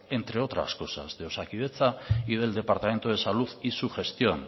entre otras cosas de osakidetza y del departamento de salud y su gestión